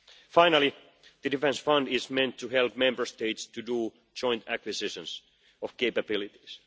Finally, the defence fund is meant to help Member States to do joint acquisitions of capabilities.